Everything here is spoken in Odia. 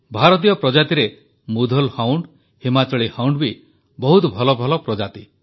ଭାରତୀୟ ପ୍ରଜାତିରେ ମୁଧୋଲ ହାଉଣ୍ଡ୍ ହିମାଚଳି ହାଉଣ୍ଡ୍ ବି ବହୁତ ଭଲ ପ୍ରଜାତି